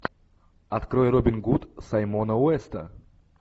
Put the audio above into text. открой робин гуд саймона уэста